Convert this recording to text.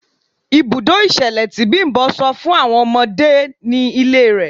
Ibùdó ìṣẹ̀lẹ̀ tí Bimbo sọ fún àwọn ọmọdé ni ilé rẹ̀.